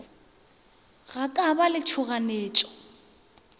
go ka ba le tšhoganyetšo